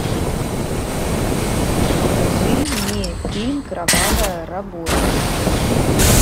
покажи мне фильм кровавая работа